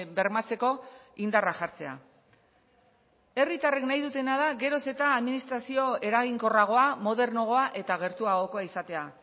bermatzeko indarra jartzea herritarrek nahi dutena da geroz eta administrazio eraginkorragoa modernoagoa eta gertuagokoa izatea